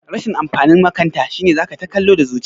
Rashin amfanin makanta shine zaka ta kallo da zuci